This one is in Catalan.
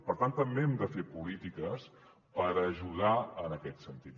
per tant també hem de fer polítiques per ajudar en aquest sentit